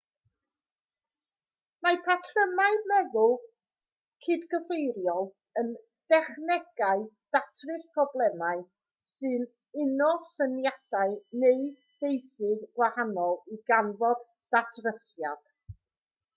mae patrymau meddwl cydgyfeiriol yn dechnegau datrys problemau sy'n uno syniadau neu feysydd gwahanol i ganfod datrysiad